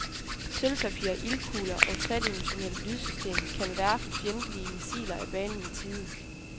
Sølvpapir, ildkugler og et tredimensionalt lydsystem kan verfe fjendtlige missiler af banen i tide.